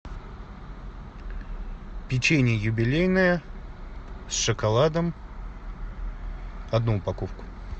печенье юбилейное с шоколадом одну упаковку